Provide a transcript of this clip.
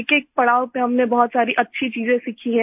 एकएक पड़ाव पर हमने बहुत ही अच्छी चीजें सीखी हैं